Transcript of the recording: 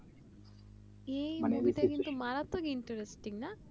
মারাত্তক Interesting না